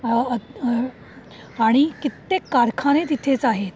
आह आणि कित्येक कारखाने तिथेच आहेत.